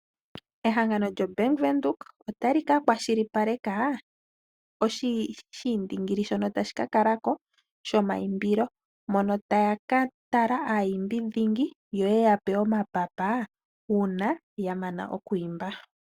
Ehangano lyo Bank Windhoek otali ka kwashilipaleka oshiindingili shono tashi kakala ko shomaimbilo. Mono taya ka tala aayimbi dhingi yo yeya pe omapapa uuna ya mana okwiimba.